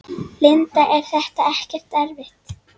Linda: Er þetta ekkert erfitt?